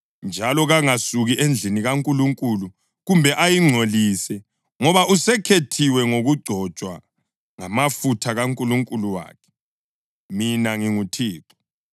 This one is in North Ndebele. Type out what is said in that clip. njalo kangasuki endlini kaNkulunkulu kumbe ayingcolise, ngoba usekhethiwe ngokugcotshwa ngamafutha kaNkulunkulu wakhe. Mina nginguThixo.